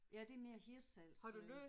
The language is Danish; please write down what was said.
Ja det er mere Hirtshals øh